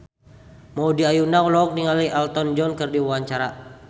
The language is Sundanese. Maudy Ayunda olohok ningali Elton John keur diwawancara